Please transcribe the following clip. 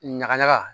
Ɲagaɲaga